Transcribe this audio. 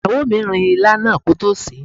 Ìyàwó mi rin ilá náà kótó sèé.